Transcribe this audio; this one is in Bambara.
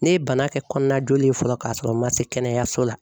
Ne ye bana kɛ kɔnɔna joli ye fɔlɔ k'a sɔrɔ n ma se kɛnɛyaso la.